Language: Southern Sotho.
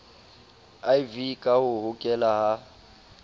iv ka ho hokela ka